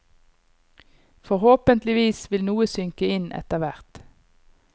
Forhåpentlig vil noe synke inn etterhvert.